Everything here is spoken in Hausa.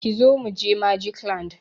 Kizo mu je Magic land!